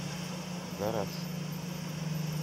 гараж